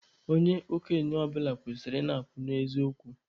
Onye okenye ọbụla kwesịrị ị na-akwụ n'eziokwu